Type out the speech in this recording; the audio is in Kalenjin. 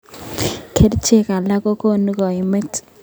Kerichek alak kokonunkaimet.